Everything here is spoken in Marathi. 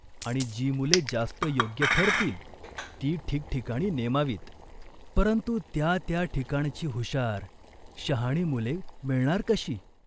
आणि जी मुले जास्त योग्य ठरतील ती ठिकठिकाणी नेमावीत," "परंतु त्या त्या ठिकाणची हुशार, शहाणी मुले मिळणार कशी ?